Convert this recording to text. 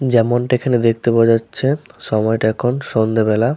যেমনটা এখানে দেখতে পাওয়া যাচ্ছে সময়টা এখন সন্ধ্যাবেলা।